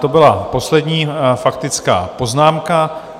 To byla poslední faktická poznámka.